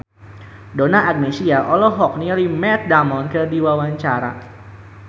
Donna Agnesia olohok ningali Matt Damon keur diwawancara